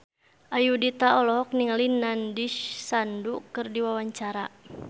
Ayudhita olohok ningali Nandish Sandhu keur diwawancara